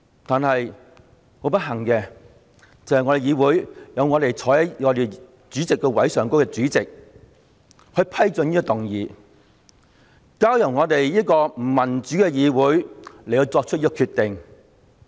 但是，不幸地，坐在我們議會的主席座位上的主席批准局長動議這項議案，再交由我們這個不民主的議會來作出決定。